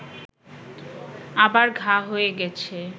আবার ঘা হয়ে গেছে